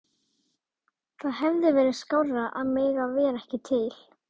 Það hefði verið skárra að mega vera ekki til.